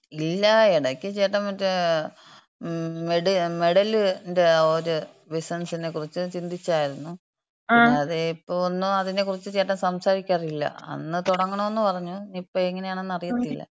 ഇല്ലാ. ഇടയ്ക്ക് ചേട്ടൻ മറ്റേ മെഡലിന്‍റെ ഒര് ബിസിനസ്സിനെ കുറിച്ച് ചിന്തിച്ചായിരുന്നു. പിന്നെ അത് ഇപ്പോ ഒന്നും അതിനെക്കുറിച്ച് ചേട്ടൻ സംസാരിക്കാറില്ല. അന്ന് തുടങ്ങണോന്ന് പറഞ്ഞു. ഇപ്പോ എങ്ങനെയാണെന്നറിയത്തില്ല.